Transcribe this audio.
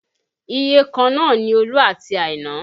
Iyèkan náà ni Olú àti Àìnà